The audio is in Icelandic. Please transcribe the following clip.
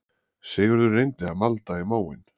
Sigurður reyndi að malda í móinn